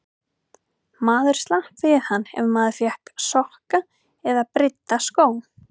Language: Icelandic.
Maður slapp við hann ef maður fékk sokka eða brydda skó.